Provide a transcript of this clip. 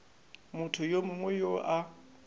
motho yo mongwe yo a